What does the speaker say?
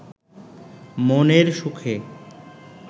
মনের সুখে